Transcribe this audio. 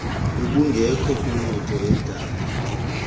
ubungekho kwimoto edale